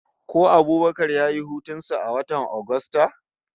Ko Abubakar ya yi hutun sa a watan Agusta?